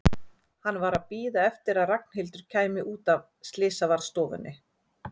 Hann var að bíða eftir að Ragnhildur kæmi út af slysavarðstofunni.